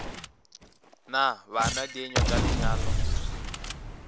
na bana dienywa tša lenyalo